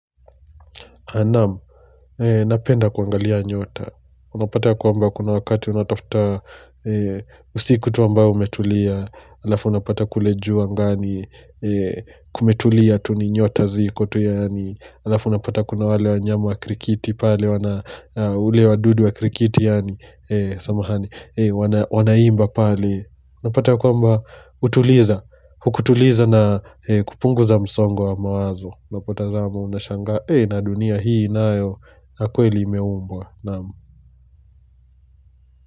Naam, napenda kuangalia nyota, unapata ya kwamba kuna wakati unatafuta usiku tu ambao umetulia, alafu unapata kule juu angani, kumetulia tu ni nyota ziko tu yaani, alafu unapata kuna wale wanyama wa krikiti pale, ule wadudu wa krikiti yaani, wanaimba pale Napata kwamba hutuliza, hukutuliza na kupunguza msongo wa mawazo. Unapotazama unashangaa, eeh na dunia hii nayo, kweli imeumbwa naam.